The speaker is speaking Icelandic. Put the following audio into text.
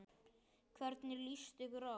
Hvernig líst ykkur á?